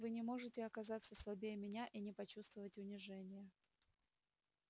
вы не можете оказаться слабее меня и не почувствовать унижения